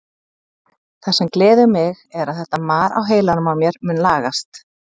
Það sem gleður mig er að þetta mar á heilanum á mér mun lagast.